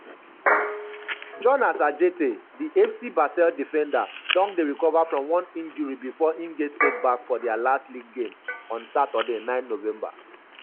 jonas adjetey:di fc basel defender don dey recover from one injury bifor im get setback for dia last league game on saturday 9 november.